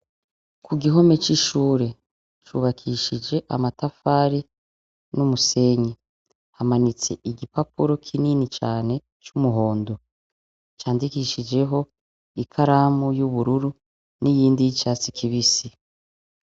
Kugihome c’ishure, cubakishije amatafari n’umusenyi, hamanitse igipapuro kinini cane c’umuhondo candikishijeho ikaramu y’ubururu n’iyindi y’icatsi kibisi.